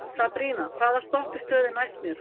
Sabrína, hvaða stoppistöð er næst mér?